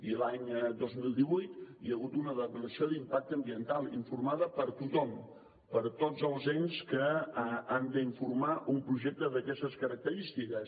i l’any dos mil divuit hi ha hagut una declaració d’impacte ambiental informada per tothom per tots els ens que han d’informar un projecte d’aquestes característiques